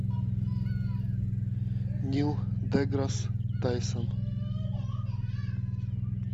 нил деграсс тайсон